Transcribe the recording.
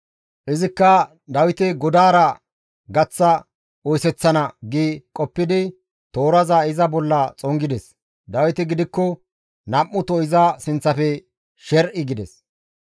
Izikka, «Dawite godaara gaththa oyseththana» gi qoppidi tooraza iza bolla xongides; Dawiti gidikko nam7uto iza sinththafe sher7i gides.